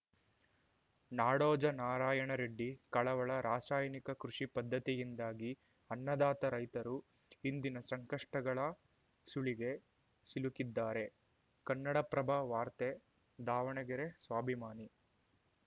ನಾಡೋಜ ನಾರಾಯಣರೆಡ್ಡಿ ಕಳವಳ ರಾಸಾಯನಿಕ ಕೃಷಿ ಪದ್ಧತಿಯಿಂದಾಗಿ ಅನ್ನದಾತ ರೈತರು ಇಂದಿನ ಸಂಕಷ್ಟಗಳ ಸುಳಿಗೆ ಸಿಲುಕಿದ್ದಾರೆ ಕನ್ನಡಪ್ರಭ ವಾರ್ತೆ ದಾವಣಗೆರೆ ಸ್ವಾಭಿಮಾನಿ